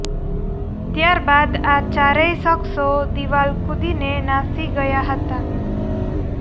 ત્યારબાદ આ ચારેય શખ્સો દિવાલ કુદીને નાશી ગયા હતા